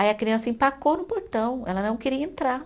Aí a criança empacou no portão, ela não queria entrar.